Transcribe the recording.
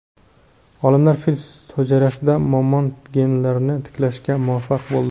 Olimlar fil hujayrasida mamont genlarini tiklashga muvaffaq bo‘ldi.